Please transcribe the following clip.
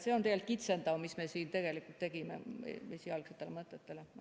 See on esialgsete mõtetega võrreldes tegelikult kitsendav, mis me siin teinud oleme.